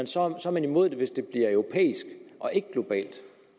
så er man imod det hvis det bliver europæisk og ikke globalt